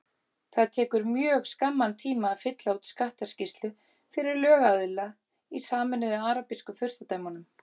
Það tekur mjög skamman tíma að fylla út skattaskýrslu fyrir lögaðila í Sameinuðu arabísku furstadæmunum.